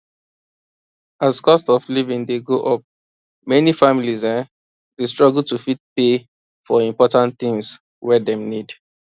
as cost of living dey go up many families um dey struggle to fit pay for important things wey dem need